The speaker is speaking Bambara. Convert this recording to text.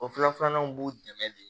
O fila filanan b'u dɛmɛ de